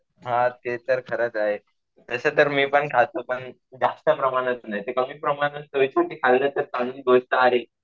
हा ते तर खरंच आहे. तसं तर मी पण खातो. पण जास्त प्रमाणात नाही. कमी प्रमाणात चवीसाठी खाल्लं तर चांगली गोष्ट आहे.